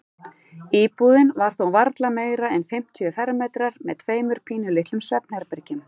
Íbúðin var þó varla meira en fimmtíu fermetrar með tveimur pínulitlum svefnherbergjum.